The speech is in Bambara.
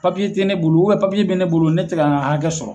Papiye tɛ ne bolo papiye bɛ ne bolo ne tɛ ka n ka hakɛ sɔrɔ